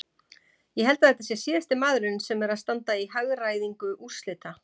Ég held að þetta sé síðasti maðurinn sem er að standa í hagræðingu úrslita.